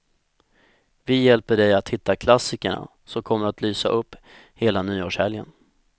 Vi hjälper dig att hitta klassikerna som kommer att lysa upp hela nyårshelgen.